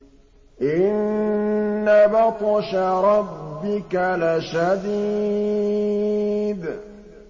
إِنَّ بَطْشَ رَبِّكَ لَشَدِيدٌ